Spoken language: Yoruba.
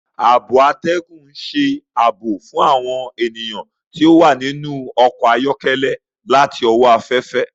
Ààbò atẹgun n ṣe ààbò fún awọn ènìyàn ti o wa ninu ọkọ ayọkẹlẹ láti owó aféfé.